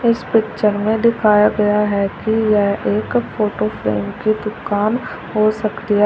इस पिक्चर में दिखाया गया है कि यह एक फोटो फ्रेम की दुकान हो सकती है।